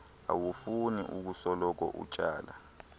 awufuni ukusoloko utsala